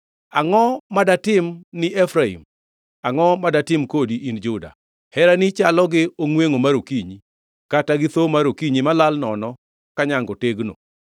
“Angʼo madatimni Efraim? Angʼo ma datim kodi, in Juda? Herani chalo gi ongʼwengʼo mar okinyi, kata gi thoo mar okinyi malal nono ka nyango tegno.